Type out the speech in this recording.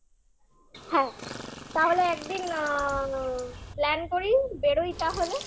হ্যাঁ তাহলে একদিন আ plan করি বেরোই তাহলে?